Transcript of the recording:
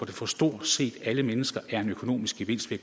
for stort set alle mennesker er en økonomisk gevinst ved